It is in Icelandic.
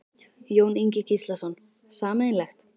Jón Ingi Gíslason: Sameiginlegt?